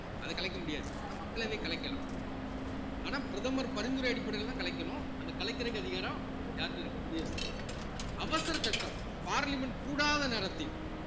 அதை கலைக்க முடியாது ஆனா மக்களவை கலைக்கலாம் ஆனா பிரதமர் பரிந்துரை அடிப்படையிலேதான் கலைக்கணும் அந்த கலைக்கிறதுக்கு அதிகாரம் யார்கிட்ட இருக்கு குடியரசுத் தலைவர் அவசர சட்டம் பார்லிமென்ட் கூடாத நேரத்தில்